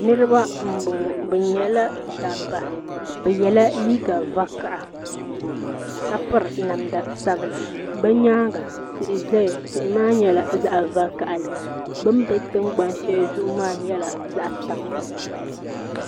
Niriba n bɔŋɔ bi yɛla dabiba bi yiɛla liiga vakaha ka piri namda sabila bi yɛanga tihi zaya tihi maa nyɛla zaɣi vakaha bini bɛ tiŋgbani shɛli zuɣu maa nyɛla zaɣi tampilim.